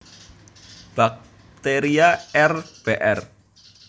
Baxteria R Br